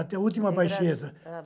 Até a última baixeza.